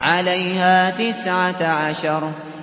عَلَيْهَا تِسْعَةَ عَشَرَ